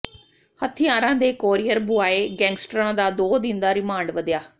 ਹਥਿਆਰਾਂ ਦੇ courier boy ਗੈਂਗਸਟਰਾਂ ਦਾ ਦੋ ਦਿਨ ਦਾ ਰਿਮਾਂਡ ਵਧਿਆ